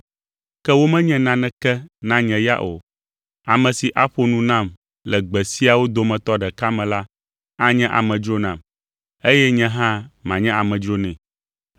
ke womenye naneke na nye ya o. Ame si aƒo nu nam le gbe siawo dometɔ ɖeka me la anye amedzro nam, eye nye hã manye amedzro nɛ.